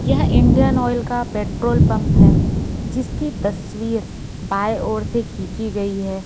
यह Indian oil का petrol pump है जिसकी तस्वीर बाएं ओर से खींची गई है।